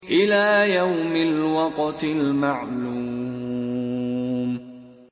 إِلَىٰ يَوْمِ الْوَقْتِ الْمَعْلُومِ